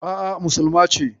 A'a, musulma ce.